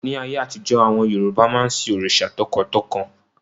Ní ayé àtijọ́, àwọn Yorùbá máa ń sin òrìṣà tọkàntọkàn